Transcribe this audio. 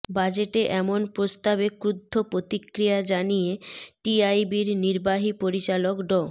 বাজেটে এমন প্রস্তাবে ক্ষুব্ধ প্রতিক্রিয়া জানিয়ে টিআইবির নির্বাহী পরিচালক ড